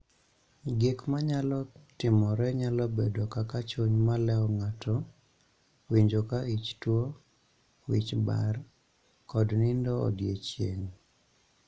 Gik ma nyalo timore nyalo bedo kaka chuny maleo ng'ato (winjo ka ich tuo), wich bar, kod nindo odiechieng�.